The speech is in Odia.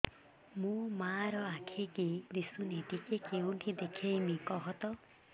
ମୋ ମା ର ଆଖି କି ଦିସୁନି ଟିକେ କେଉଁଠି ଦେଖେଇମି କଖତ